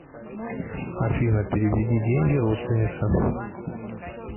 афина переведи деньги родственнице